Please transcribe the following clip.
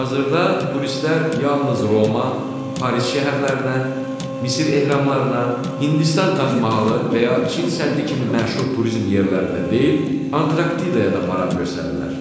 Hazırda turistlər yalnız Roma, Paris şəhərlərinə, Misir ehramlarına, Hindistan Tac Mahalına və ya Çin səddi kimi məşhur turizm yerlərində deyil, Antarktidaya da maraq göstərirlər.